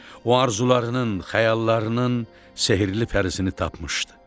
O arzularının, xəyallarının sehrli pərisini tapmışdı.